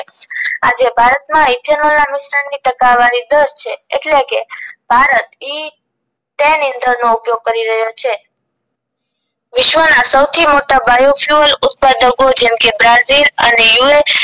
જે ભારતમાં ethanol ના નુકશાન ની ટકાવારી દસ છે એટલે કે ભારત ઇ નો ઉપયોગ કરી રહ્યો છે વિશ્વના સૌથી મોટા bio fuel ઉત્પાદકો જેમકે બ્રાઝિલ અને યુ એસ